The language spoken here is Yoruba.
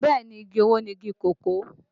Bẹ́ẹ̀ ni, igi owó ni igi kòkó